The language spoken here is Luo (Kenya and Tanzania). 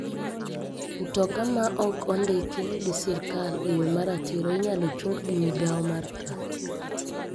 Mtoka ma ok ondiki gi sirkal e yo maratiro inyalo chung gi mogao mar trafik.